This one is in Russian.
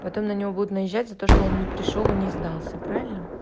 потом на него будут наезжать за то что он не пришёл и не сдался правильно